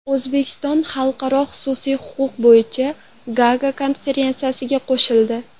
O‘zbekiston Xalqaro xususiy huquq bo‘yicha Gaaga konferensiyasiga qo‘shildi.